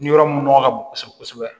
Ni yɔrɔ mun nɔgɔ ka bon kosɛbɛ kosɛbɛ